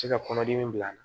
Se ka kɔnɔdimi bila a la